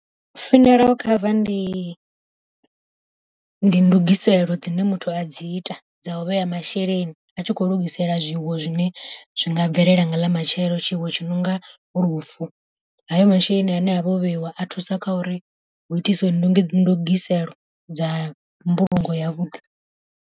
Funeral cover ndi ndi ndugiselo dzine muthu a dzi ita dza u vhea masheleni, a tshi kho lugisela zwifuwo zwine zwi nga bvelela nga ḽa matshelo, tshiwo tshi nonga lufu. Hayo masheleni ane a vha o vheiwa a thusa kha uri hu itisiwe ndugiselo dza mbulungo yavhuḓi.